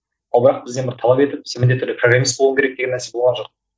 ал бірақ бізден бір талап етіп сен міндетті түрде программист болуың керек деген нәрсе болған жоқ